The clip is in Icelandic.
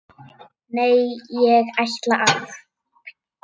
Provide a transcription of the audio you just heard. Nei, ég ætla að.